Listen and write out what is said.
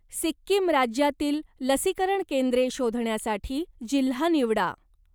सिक्कीम राज्यातील लसीकरण केंद्रे शोधण्यासाठी जिल्हा निवडा.